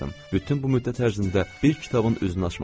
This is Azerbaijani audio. Bütün bu müddət ərzində bir kitabın üzünü açmamışdım.